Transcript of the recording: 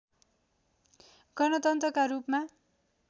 गणतन्त्रका रूपमा